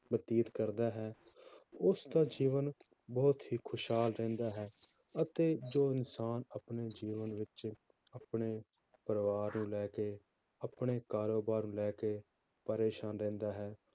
ਬਤੀਤ ਕਰਦਾ ਹੈ ਉਸਦਾ ਜੀਵਨ ਬਹੁਤ ਹੀ ਖ਼ੁਸ਼ਹਾਲ ਰਹਿੰਦਾ ਹੈ, ਅਤੇ ਜੋ ਇਨਸਾਨ ਆਪਣੇ ਜੀਵਨ ਵਿੱਚ ਆਪਣੇ ਪਰਿਵਾਰ ਨੂੰ ਲੈ ਕੇ ਆਪਣੇ ਕਾਰੋਬਾਰ ਨੂੰ ਲੈ ਕੇ ਪਰੇਸਾਨ ਰਹਿੰਦਾ ਹੈ,